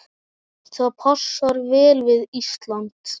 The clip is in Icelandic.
Það passar vel við Ísland.